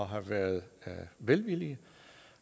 have været velvillige